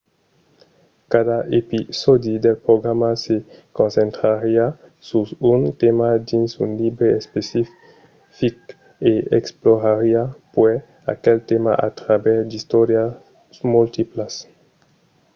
cada episòdi del programa se concentrariá sus un tèma dins un libre especific e explorariá puèi aquel tèma a travèrs d'istòrias multiplas